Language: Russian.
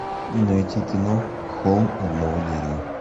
найти кино холм одного дерева